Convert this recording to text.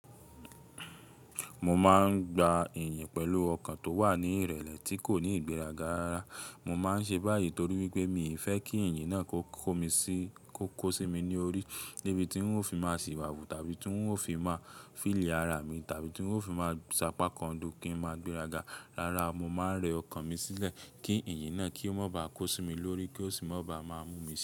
Mo máa ń gba ìyìn pẹ̀lú ọkàn tó wà ní ìrẹ̀lẹ̀ tí kò ní ìgbéraga rara. Mo máa ń ṣe báyìí torí wípé mi ì fẹ́ kí ìyìn náà kó kò mí sí kó kó sí mi ní orí débi tí ń ó fi máa ṣìwàwù tàbí tí ń ó fi máa fìll ara mi tàbí tí ń ó fi máa ṣápá kan du kí n máa gbéraga. Rárá mo máa ń rẹ ọkàn mi sílẹ̀ kí ìyìn náà kí ó má ba á kó sí mi lórí kí ó sì má ba má mú mi.